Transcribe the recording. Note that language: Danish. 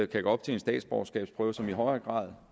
kan gå op til en statsborgerskabsprøve som i højere grad